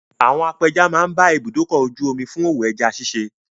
Àwọn apẹja máa ń bá ibùdókọ̀-ojú-omi fún òwò ẹja ṣiṣẹ́.